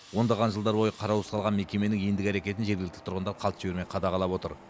ондаған жылдар бойы қараусыз қалған мекеменің ендігі әрекетін жергілікті тұрғындар қалт жібермей қадағалап отыр